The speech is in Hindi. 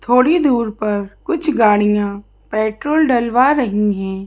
थोड़ी दूर पर कुछ गाड़ियां पेट्रोल डलवा रही हैं।